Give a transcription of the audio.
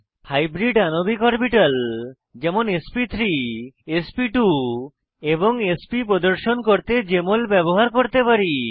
hybrid আণবিক orbital যেমন এসপি3 এসপি2 এবং এসপি প্রদর্শন করতে জেএমএল ব্যবহার করতে পারি